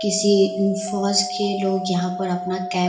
किसी फौज के लोग यहाँ पर अपना कैब --